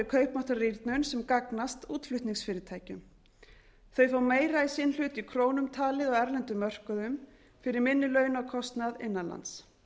kaupmáttarrýrnun sem gagnast útflutningsfyrirtækjum þau fá meira í sinn hlut í krónum talið á erlendum mörkuðum fyrir minni launakostnað innan lands